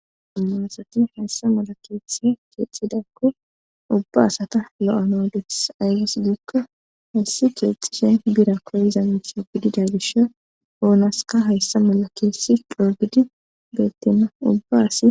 amaasati hayssa mala keessi keexxidakko ubba asata lo7anodees ayges giikko hayssi keexxishe bira koyza miso gidida gisho oonaska hayssa mala keessi dhoogidi betina ubba asi